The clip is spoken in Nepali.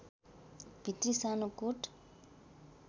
भित्री सानो कोट